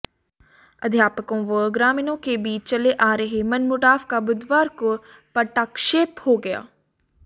अध्यापकों व ग्रामीणों के बीच चले आ रहे मनमुटाव का बुधवार को पटाक्षेप हो गया